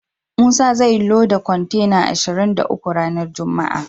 Musa zai loda kontena ashirin da uku ranar juma'a.